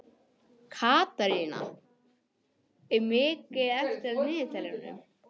Katrína, hvað er mikið eftir af niðurteljaranum?